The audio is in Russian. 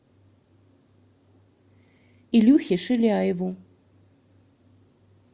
илюхе шиляеву